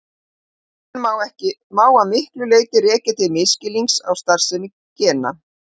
Ágreininginn má að miklu leyti rekja til misskilnings á starfsemi gena.